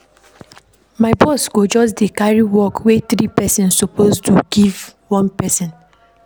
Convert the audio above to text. My boss go just carry work wey three pesins suppose do carry give one pesin.